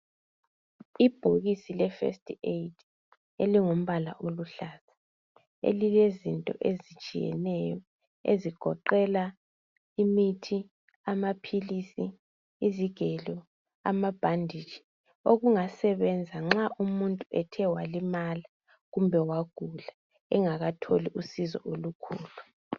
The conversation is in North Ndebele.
Ibhokisi le first aid elingumbala oluhlaza elilezinto ezitshiyeneyo ezigoqela imithi, amaphilisi, izigelo amabhanditshi okungasebenza nxa umuntu ethe walimala kumbe wagula engakatholi usizo olukhulu.